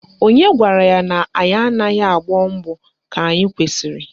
Onye gwara ya na anyị anaghị agbọ mbọ ka anyị kwesịrị?